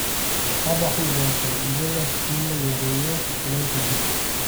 Qabaxu waa faa'iido leh in la yareeyo kulaylka jirka.